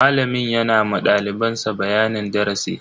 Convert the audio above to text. Malamin yana ma daliban sa bayanin darasi.